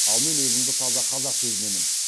ал мен өзімді таза қазақ сезінемін